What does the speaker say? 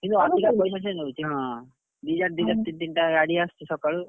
ସେ କିନ୍ତୁ ଅଧିକା ପଇସା ସେ ନଉଛି ହଁ, ଦିଟା ତିନିଟା ଗାଡି ଆସୁଛି ସକାଳୁ।